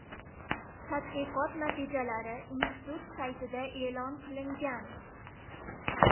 Tadqiqot natijalari institut saytida e’lon qilingan .